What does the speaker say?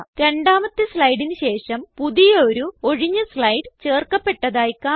രണ്ടാമത്തെ സ്ലൈഡിന് ശേഷം പുതിയൊരു ഒഴിഞ്ഞ സ്ലൈഡ് ചേർക്കപ്പെട്ടതായി കാണാം